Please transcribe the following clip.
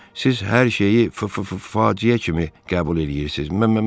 Siz hər şeyi f-f-f-faciə kimi qəbul eləyirsiz.